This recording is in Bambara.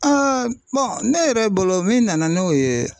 ne yɛrɛ bolo min nana n'o ye